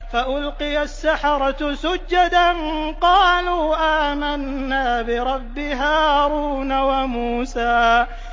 فَأُلْقِيَ السَّحَرَةُ سُجَّدًا قَالُوا آمَنَّا بِرَبِّ هَارُونَ وَمُوسَىٰ